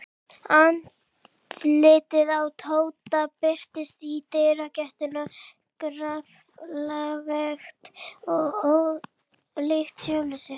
Andlitið á Tóta birtist í dyragættinni grafalvarlegt og ólíkt sjálfu sér.